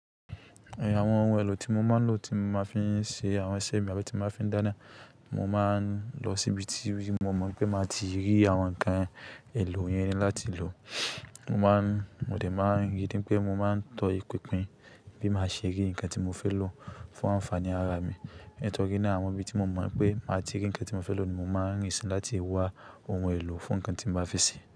Àwọn ohun èlò tí mo máa ń lò tí mo máa fi ń ṣe àwọn iṣẹ́ mi àbi tí máa fi ń dáná, mo máa ń lọ síbi tí mo mọ̀ wipé máa ti rí àwọn nǹkan èlò yẹn láti lò. Mo máa ń, mo dẹ̀ máa ń ríi wipé mo máa ń tọ ìpìnpin bí máa ṣe rí ǹnkan tí mo fẹ́ lò fún ànfàaní ara mi. Nitọ́rí naa àwọn ibi tí mo mọ̀ pé máa ti rí ǹnkan tí mo fẹ́ lò ni mo máa ń rìn sínú láti wá ohun èlò fún ǹnkan tí n bá fẹ́ ṣe.